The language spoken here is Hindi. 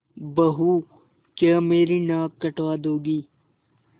बहू क्या मेरी नाक कटवा दोगी